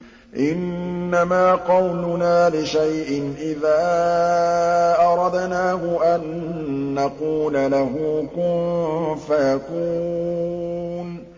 إِنَّمَا قَوْلُنَا لِشَيْءٍ إِذَا أَرَدْنَاهُ أَن نَّقُولَ لَهُ كُن فَيَكُونُ